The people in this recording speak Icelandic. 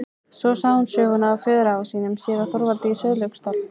Svo sagði hún söguna af föðurafa sínum, séra Þorvaldi í Sauðlauksdal.